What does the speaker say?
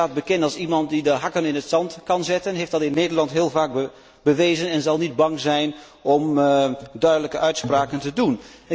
Zij staat bekend als iemand die de hakken in het zand kan zetten, ze heeft dat in Nederland heel vaak bewezen, en zal niet bang zijn om duidelijke uitspraken te doen.